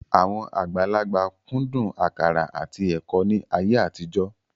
Àwọn àgbàlagbà kúndùn àkàrà àti ẹ̀kọ́ ní ayé àtijọ́